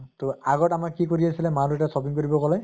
তʼ আগত আমাৰ কি কৰি আছিলে মা দেইতাই shopping কৰিব গʼলে